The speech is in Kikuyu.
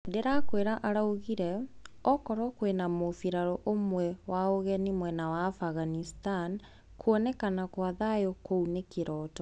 "Ndirakwira," araugire "okoruo kwina mubiraru umwe wa ugeni mwena wa Afghanistan, kuonekana kwa thayu kuo ni kiroto."